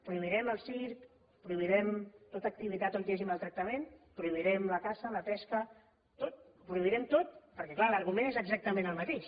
prohibirem el circ prohibirem tota activitat on hi hagi maltractament prohibirem la caça la pesca tot ho prohibirem tot perquè clar l’argument és exactament el mateix